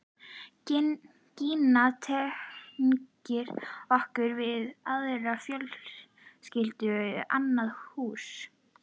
Gína tengir okkur við aðra fjölskyldu, annað hús.